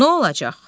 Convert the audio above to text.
Nə olacaq?